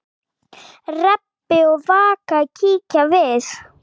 Rebbi og Vaka kíkja við.